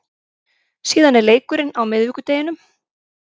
Síðan er leikurinn á miðvikudeginum.